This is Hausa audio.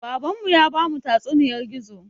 Baban mu ya bamu tatsuniyar gizo